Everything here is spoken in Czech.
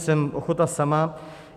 Jsem ochota sama.